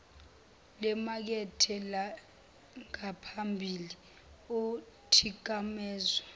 lemakethe langaphambilini othikamezwe